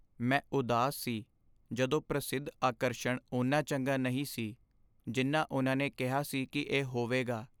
ਮੈਂ ਉਦਾਸ ਸੀ ਜਦੋਂ ਪ੍ਰਸਿੱਧ ਆਕਰਸ਼ਣ ਓਨਾ ਚੰਗਾ ਨਹੀਂ ਸੀ ਜਿੰਨਾ ਉਨ੍ਹਾਂ ਨੇ ਕਿਹਾ ਸੀ ਕਿ ਇਹ ਹੋਵੇਗਾ।